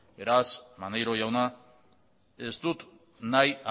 beraz maneiro jauna ez dut nahi